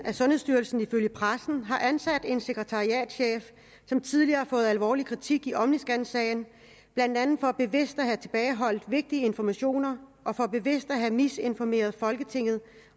at sundhedsstyrelsen ifølge pressen har ansat en sekretariatschef som tidligere har fået alvorlig kritik i omniscansagen blandt andet for bevidst at have tilbageholdt vigtig information og for bevidst at have misinformeret folketinget